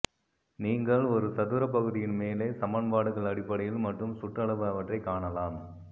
நீங்கள் ஒரு சதுர பகுதியின் மேலே சமன்பாடுகள் அடிப்படையில் மற்றும் சுற்றளவு அவற்றை காணலாம்